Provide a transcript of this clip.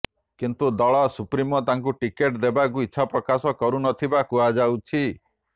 କିନ୍ତୁ ଦଳ ସୁପ୍ରିମୋ ତାଙ୍କୁ ଟିକେଟ ଦେବାକୁ ଇଛାପ୍ରକାଶ କରୁନଥିବା କୁହାଯାଉଛି